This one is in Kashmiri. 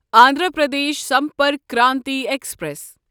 اندھرا پردیش سمپرک کرانتی ایکسپریس